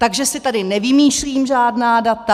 Takže si tady nevymýšlím žádná data.